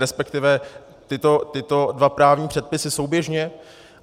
Respektive tyto dva právní předpisy souběžně?